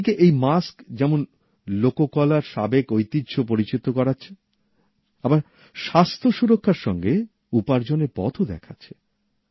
একদিকে এই মাস্ক যেমন শিল্পকলার সাবেক ঐতিহ্যকে পরিচিত করাচ্ছে আবার স্বাস্থ্য সুরক্ষার সঙ্গে উপার্জনের পথও দেখাচ্ছে